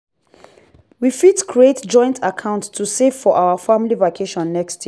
we fit create joint account to save for our family vacation next year.